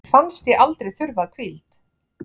Mér fannst ég aldrei þurfa hvíld